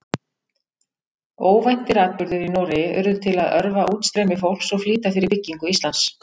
Óvæntir atburðir í Noregi urðu til að örva útstreymi fólks og flýta fyrir byggingu Íslands.